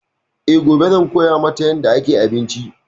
E, gobe zan koya mata yarda ake abinci.